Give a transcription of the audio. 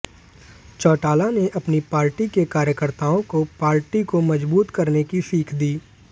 चौटाला ने अपने पार्टी के कार्यकर्ताओं को पार्टी को मजबूत करने की सीख दी